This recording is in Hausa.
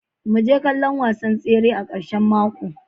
Mu je kallon wasan tsere a karshen mako.